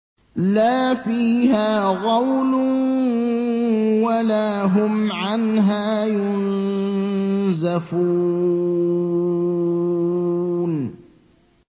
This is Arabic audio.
لَا فِيهَا غَوْلٌ وَلَا هُمْ عَنْهَا يُنزَفُونَ